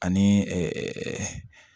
Ani